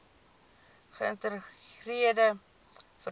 geïntegreerde vervoer plan